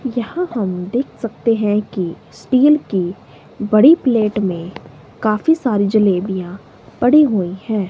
यहां हम देख सकते हैं कि स्टील की बड़ी प्लेट में काफी सारी जलेबियां पड़ी हुई हैं।